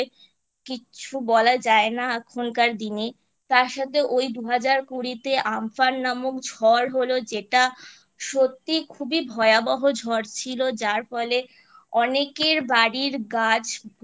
কিচ্ছু বলা যায় না এখনকার দিনে তারসাথে ওই দুহাজার কুড়িতে আমফান নামক ঝড় হলো যেটা সত্যি খুবই ভয়াবহ ঝড় ছিল যার ফলে অনেকের বাড়ির গাছ পরে